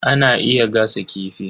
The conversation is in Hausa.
Ana iya gasa kifi.